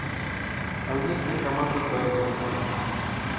английская команда бернли матч